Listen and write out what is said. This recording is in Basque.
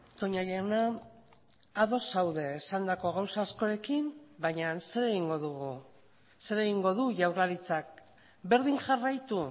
toña jauna ados zaude esandako gauza askorekin baina zer egingo dugu zer egingo du jaurlaritzak berdin jarraitu